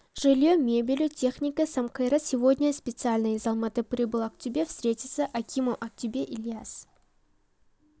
жилье мебелью теіникой сам кайрат сегодня специально из алматы прибыл актобе встретился акимом актобе ильяс